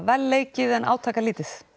vel leikið en átakalítið